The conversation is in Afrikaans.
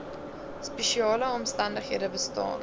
spesiale omstandighede bestaan